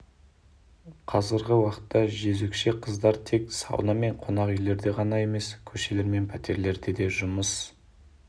қазіргі уақытта жөзекші қыздар тек сауна мен қонақ үйлерде ғана емес көшелер мен пәтерлерде де жұмыс